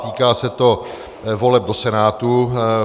Týká se to voleb do Senátu.